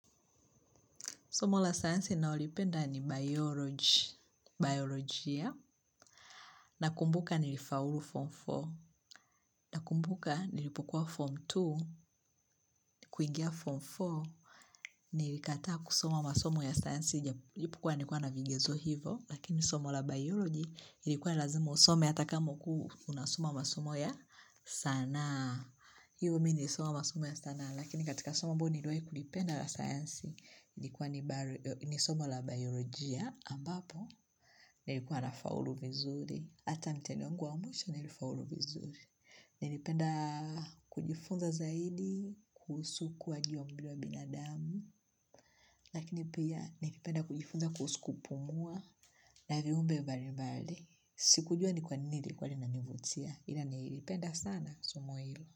Somo la sayansi nalolipenda ni bioloji, biolojia, na kumbuka nilifaulu form 4, na kumbuka nilipokuwa form 2, kuingia form 4, nilikataa kusoma masomo ya sayansi, japokuwa nilikuwa na vigezo hivo, lakini somo la bioloji ilikuwa nilazima usome ata kama ulikuwa unasoma masomo ya sanaa. Haa, hivyo mi nilisoma masomo ya sanaa, lakini katika soma ambayo niliwai kulipenda la sayansi, nilikuwa nisomo la biologia ambapo, nilikuwa na faulu vizuri, ata mtihani wangu wa mwisho nilifaulu vizuri. Nilipenda kujifunza zaidi, kuhusu ku wa giyombiwa binadamu, lakini pia nilipenda kujifunza kuhusu kupumua, na viumbe mbali mbali. Sikujua ni kwa nini nili kuwa lina nivutia, ila nilipenda sana somo ilo.